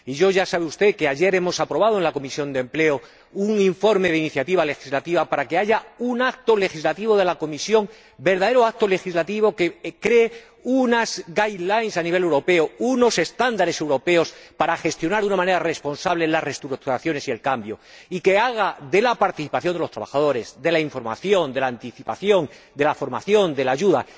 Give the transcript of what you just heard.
Ya sabe usted que ayer aprobamos, en la Comisión de Empleo, un informe de iniciativa legislativa para que haya un acto legislativo de la Comisión, un verdadero acto legislativo que cree unas directrices a nivel europeo, unos estándares europeos para gestionar de una manera responsable las reestructuraciones y el cambio, y que priorice la participación de los trabajadores, la información, la anticipación, la formación y la ayuda.